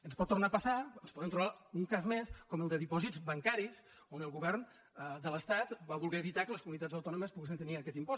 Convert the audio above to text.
ens pot tornar a passar ens podem trobar un cas més com el de dipòsits bancaris on el govern de l’estat va voler evitar que les comunitats autònomes poguessin tenir aquest impost